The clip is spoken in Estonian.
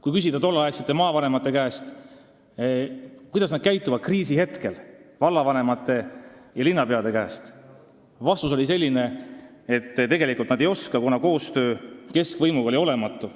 Kui oleksime küsinud tolleaegsete maavanemate, vallavanemate ja linnapeade käest, kuidas nad käituksid kriisihetkel, siis olnuks vastus selline, et tegelikult nad ei oska, kuna koostöö keskvõimuga on olnud olematu.